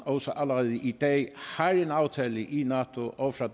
også allerede i dag har en aftale i nato og fra